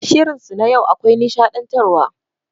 Shirin su na yau akwai nishaɗantar wa.